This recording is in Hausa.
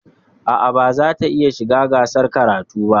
A'a, ba zata iya shiga gasar karatun ba.